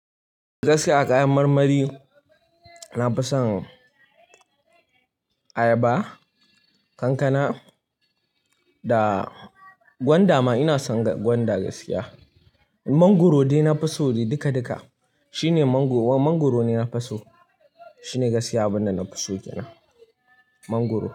Gaskiya a kayan marmari na fi son ayaba, kankana da gwanda ma ina son gwanda gaskiya. Mangoro dai na fi so dai duka duka. Shi ne mango-- mangoro ne na fi so. Shi ne gaskiya abin da na fi so kenan mangoro.